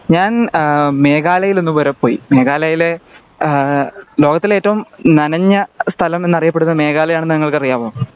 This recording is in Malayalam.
ഞാൻ അഹ് മേഘാലയിൽ ഒന്ന് വരെ പോയി മേഘാലയിലെ ആഹ് ലോകത്തിലെ ഏറ്റവും നനഞ്ഞ സ്ഥലം എന്ന് അറിയപ്പെടുന്നത് മേഘാലയ ആണെന്ന് നിങ്ങക്ക് അറിയാമോ